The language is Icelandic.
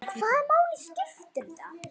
Hvaða máli skipti þetta?